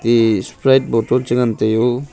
eye sprite bottle cha ngan tai o.